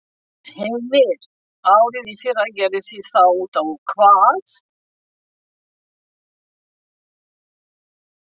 Heimir: Árið í fyrra gerði sig þá út á hvað?